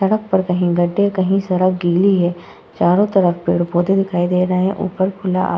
सड़क पर कहीं गढ़े कहीं सड़क गीली है। चारो तरफ पेड़-पौधे दिखाई दे रहे हैं ऊपर खुला आ --